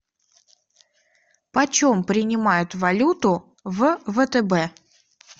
почем принимают валюту в втб